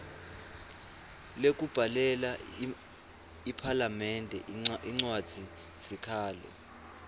lekubhalela iphalamende incwadzisikhalo